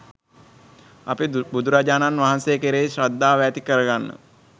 අපි බුදුරජාණන් වහන්සේ කෙරෙහි ශ්‍රද්ධාව ඇති කරගන්න